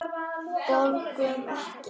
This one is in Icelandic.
Borgum Ekki!